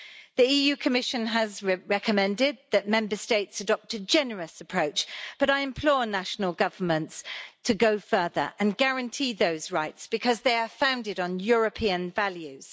The Commission has recommended that Member States adopt a generous approach, but I implore national governments to go further and guarantee those rights because they are founded on European values.